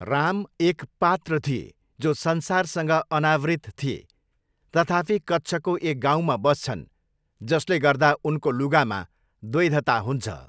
राम एक पात्र थिए जो 'संसारसँग अनावृत' थिए तथापि कच्छको एक गाउँमा बस्छन्, जसले गर्दा उनको लुगामा द्वैधता हुन्छ।